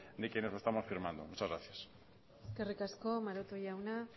de quienes estamos firmando muchas gracias eskerrik asko maroto jaunak